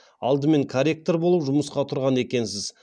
алдымен корректор болып жұмысқа тұрған екенсіз